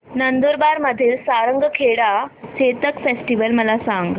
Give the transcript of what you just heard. नंदुरबार मधील सारंगखेडा चेतक फेस्टीवल मला सांग